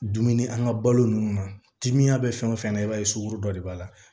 Dumuni an ka balo nunnu na timinan bɛ fɛn o fɛn na i b'a ye sogo dɔ de b'a la